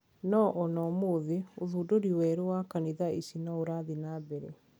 Noo ona ũmuthi ,ũthundũri weru wa kanitha ici niurathie na mbere